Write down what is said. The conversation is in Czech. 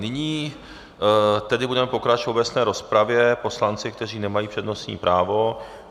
Nyní tedy budeme pokračovat v obecné rozpravě poslanci, kteří nemají přednostní právo.